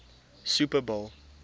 super bowl